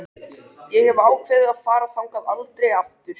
Ég hef ákveðið að fara þangað aldrei aftur.